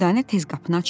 Dürdanə tez qapını açdı.